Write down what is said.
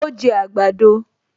Ó jẹ àgbàdo